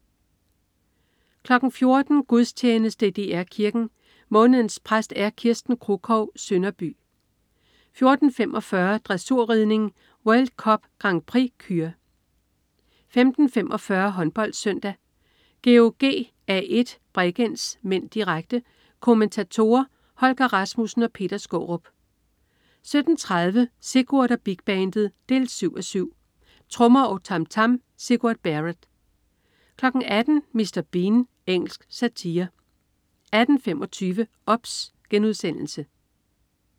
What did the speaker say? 14.00 Gudstjeneste i DR Kirken. Månedens præst er Kirsten Kruchov Sønderby 14.45 Dressurridning: World Cup Grand Prix Kür 15.45 HåndboldSøndag: GOG-A1 Bregenz (m), direkte. Kommentatorer: Holger Rasmussen og Per Skaarup 17.30 Sigurd og Big Bandet 7:7. Trommer og tam tam. Sigurd Barrett 18.00 Mr. Bean. Engelsk satire 18.25 OBS*